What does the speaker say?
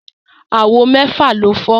Àwo mẹ́fà ló fọ́